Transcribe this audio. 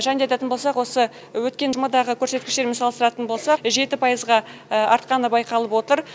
және де айтатын болсақ осы өткен жұмадағы көрсеткіштермен салыстыратын болсақ жеті пайызға артқаны байқалып отыр